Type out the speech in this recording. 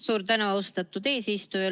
Suur tänu, austatud eesistuja!